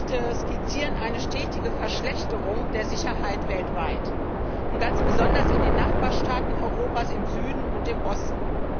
Alle drei Berichte skizzieren eine stetige Verschlechterung der Sicherheit weltweit, ganz besonders in den Nachbarstaaten Europas im Süden und im Osten.